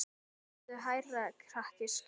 Talaðu hærra krakki skipaði hún.